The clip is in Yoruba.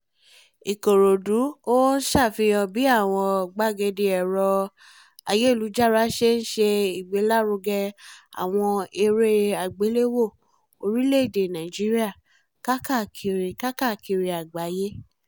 ìkòròdú hou sáfihàn bí àwọn gbàgede ẹ̀rọ-ayélujára ṣe ń ṣe ìgbélárugẹ àwọn eré àgbéléwò orílẹ̀-èdè nàíjíríà káàkiri káàkiri àgbáyé